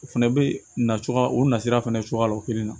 O fɛnɛ bɛ na cogoya o na sira fana cogoya la o kelen na